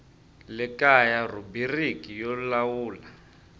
le kaya rhubiriki yo lawula